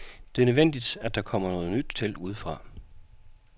Det er nødvendigt, at der kommer noget nyt til udefra.